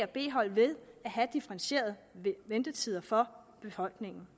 b hold ved at have differentierede ventetider for befolkningen